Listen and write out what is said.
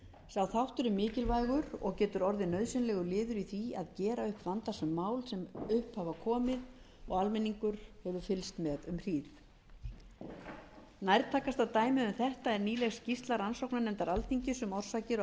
sá þáttur er mikilvægur og getur orðið nauðsynlegur liður í því að gera upp vandasöm mál sem upp hafa komið og almenningur hefur fylgst með um hríð nærtækasta dæmið um þetta er nýleg skýrsla rannsóknarnefndar alþingis um orsakir og